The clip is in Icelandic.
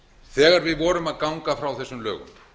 þegar við vorum að ganga frá þessum lögum